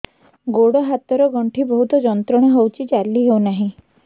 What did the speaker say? ଗୋଡ଼ ହାତ ର ଗଣ୍ଠି ବହୁତ ଯନ୍ତ୍ରଣା ହଉଛି ଚାଲି ହଉନାହିଁ